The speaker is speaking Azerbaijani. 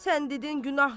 Sən dedin günahdır.